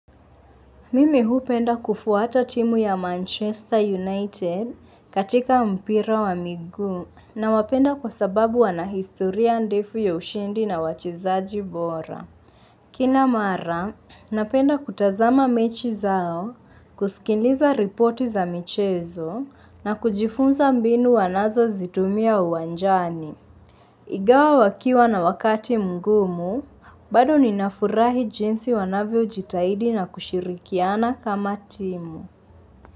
Mimi huu penda kufuata timu ya Manchester United katika mpira wa miguu na wapenda kwa sababu wana historia andifu ya ushindi na wachizaji bora. Kina mara, napenda kutazama mechi zao, kusikiliza ripoti za michezo na kujifunza mbinu wanazo zitumia uwanjani. Ingawa wakiwa na wakati mgumu, bado ninafurahi jinsi wanavyo jitahidi na kushirikiana kama timu.